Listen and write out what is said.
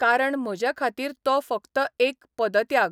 कारण म्हजे खातीर तो फकत एक पदत्याग.